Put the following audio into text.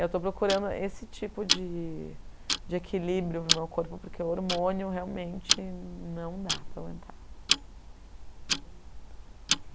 Eu estou procurando esse tipo de de equilíbrio para o meu corpo, porque o hormônio realmente não dá para aguentar.